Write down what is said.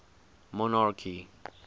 monarchy